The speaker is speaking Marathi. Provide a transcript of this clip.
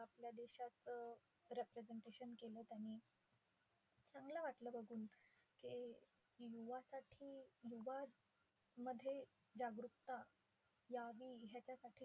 आपल्या देशाचं representation केलं त्यांनी. चांगलं वाटलं बघून की युवासाठी युवा मध्ये जागरुकता यावी ह्याच्यासाठी